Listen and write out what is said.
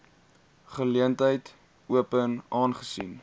geleentheid open aangesien